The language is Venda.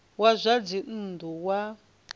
wa zwa dzinn ḓu wa